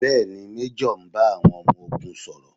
Bẹ́ẹ̀ni, Méjọ̀ ń bá àwọn ọmọ ogun sọ̀rọ̀?